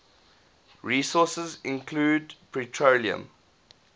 resources include petroleum